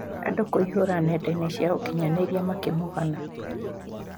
Andũ kũihũra nenda cia ukinyanĩria makĩmũgana.